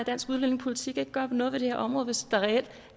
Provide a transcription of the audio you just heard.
dansk udlændingepolitik ikke gøre noget ved det her område hvis der reelt